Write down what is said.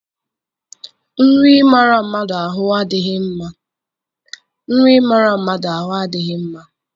Nri ịmara mmadụ ahụ adịghị mma.